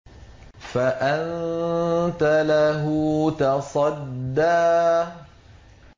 فَأَنتَ لَهُ تَصَدَّىٰ